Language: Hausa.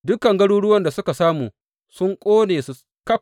Dukan garuruwan da suka samu sun ƙone su ƙaf.